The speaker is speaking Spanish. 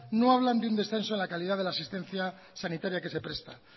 no hablan de un descenso en la calidad de la asistencia sanitaria que se presta